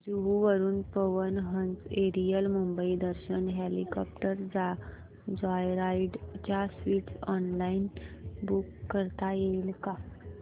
जुहू वरून Pawan Hans aerial Mumbai Darshan helicopter joyride च्या seats online book करता येतील का